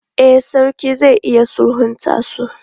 E, sarki zai iya sulhunta su.